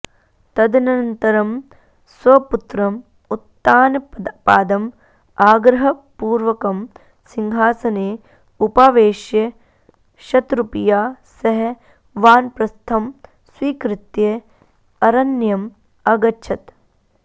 तदनन्तरं स्वपुत्रम् उत्तानपादं आग्रहपूर्वकं सिंहासने उपावेश्य शतरूपया सह वानप्रस्थं स्वीकृत्य अरण्यम् अगच्छत्